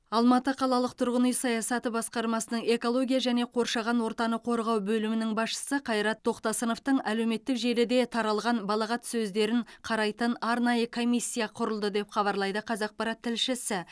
алматы қалалық тұрғын үй саясаты басқармасының экология және қоршаған ортаны қорғау бөлімінің басшысы қайрат тоқтасыновтың әлеуметтік желіде таралған балағат сөздерін қарайтын арнайы комиссия құрылды деп хабарлайды қазақпарат тілшісі